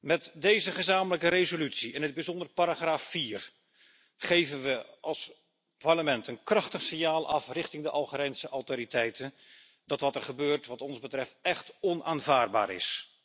Met deze gezamenlijke resolutie, in het bijzonder paragraaf 4, geven we als Parlement een krachtig signaal af richting de Algerijnse autoriteiten dat wat er gebeurt wat ons betreft echt onaanvaardbaar is.